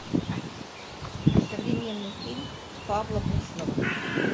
современный фильм павла буслова